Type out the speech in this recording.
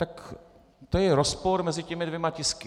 Tak to je rozpor mezi těmi dvěma tisky.